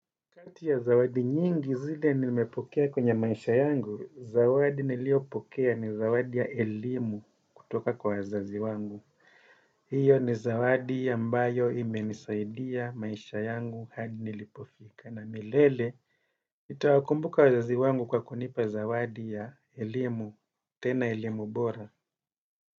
Kati ya zawadi nyingi zile nimepokea kwenye maisha yangu, zawadi niliyopokea ni zawadi ya elimu kutoka kwa wazazi wangu. Hiyo ni zawadi ambayo imenisaidia maisha yangu hadi nilipofika. Na milele, nitawakumbuka wazazi wangu kwa kunipa zawadi ya elimu, tena elimu bora.